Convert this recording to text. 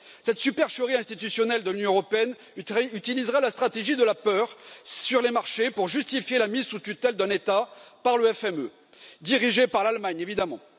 Cette supercherie institutionnelle de l'Union européenne utilisera la stratégie de la peur sur les marchés pour justifier la mise sous tutelle d'un État par le FME, dirigé par l'Allemagne évidemment.